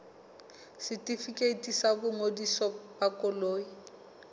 setefikeiti sa boingodiso ba koloi